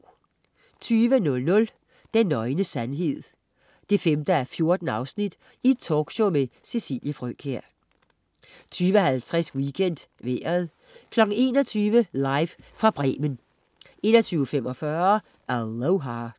20.00 Den nøgne sandhed 5:14. Talkshow med Cecilie Frøkjær 20.50 WeekendVejret 21.00 Live fra Bremen 21.45 Aloha